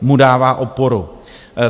mu dává oporu.